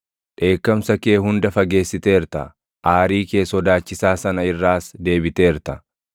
Dheekkamsa kee hunda fageessiteerta; aarii kee sodaachisaa sana irraas deebiteerta.